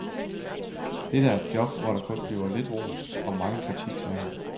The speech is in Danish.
Dette er et job, hvor der kun bliver lidt ros og megen kritik, sagde han.